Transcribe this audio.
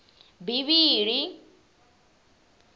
bivhili